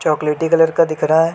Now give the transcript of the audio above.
चोकलेटी कलर का दिख रहा हैं।